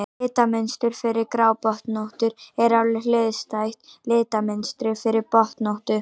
litamynstur fyrir grábotnóttu er alveg hliðstætt litamynstri fyrir botnóttu